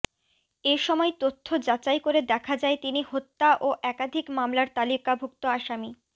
এসময় তথ্য যাচাই করে দেখা যায় তিনি হত্যা ও একাধিক মামলার তালিকাভুক্ত আসামি